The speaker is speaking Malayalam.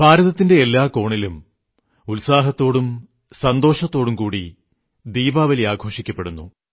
ഭാരതത്തിന്റെ എല്ലാ കോണിലും ഉത്സാഹത്തോടും സന്തോഷത്തോടും കൂടി ദീപാവലി ആഘോഷിക്കപ്പെടുന്നു